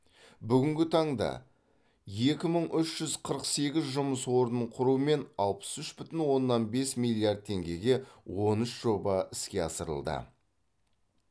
бүгінгі таңда екі мың үш жүз қырық сегіз жұмыс орнын құрумен алпыс үш бүтін оннан бес миллиард теңгеге он үш жоба іске асырылды